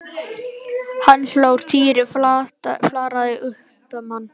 Hann hló og Týri flaðraði upp um hann.